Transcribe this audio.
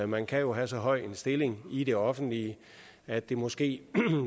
man kan jo have så høj en stilling i det offentlige at det måske